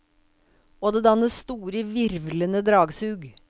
Og det dannes store, hvirvlende dragsug.